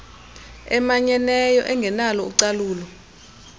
emanyeneyo engenalo ucalulo